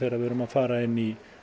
við erum að fara inn í